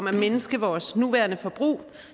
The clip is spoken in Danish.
at mindske vores nuværende forbrug